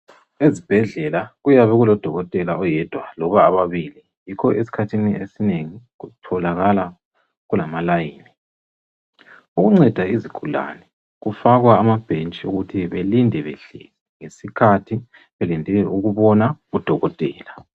Ezibhedlela kuyabe kulodokotela oyedwa loba ababili yikho esikhathini esinengi kutholakala kulama "line", ukunceda izigulane kufakwa amabhentshi ukuthi belinde behleli isikhathi belinde ukubona udokotela.